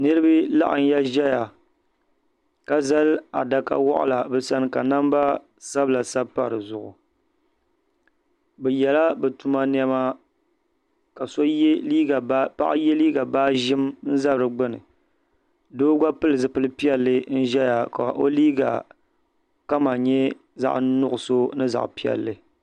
Niriba laɣim ya zaya ka zali adaka waɣila bɛ sani ka namba sabila sabi pa di zuɣu bɛ yɛla bɛ tuma niɛma ka paɣa ye liiga baa ʒim za di gbini doo gba pili zipilpiɛla n ʒeya ka o liiga kama nye zaɣa nuɣuso ni zaɣa piɛlli.